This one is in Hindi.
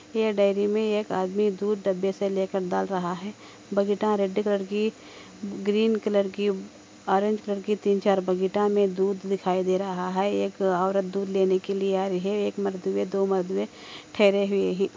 ये डेरी में एक आदमी दूध डब्बे से लेकर दाल रहा हे बक्ता रेड कलर की ग्रीन कलर की ऑरेंज कलर की थीं चार बकेट में दूद लेकर अतः हे एक ओरत दूध लेनेके आया हे ठहरे हुई हे |